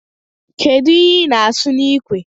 Kedụ ihe ị na-asụ n'ikwe